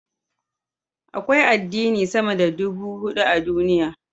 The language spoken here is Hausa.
Akwai addini sama da ɗubu hudu a duniya.